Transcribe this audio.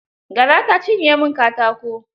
Gara ta cinye min katako.